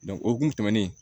o kun tɛmɛnen